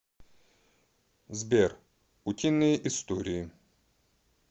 сбер утиные истории